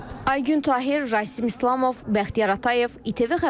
Aygün Tahir, Rasim İslamov, Bəxtiyar Atayev, İTV Xəbər, Şəki.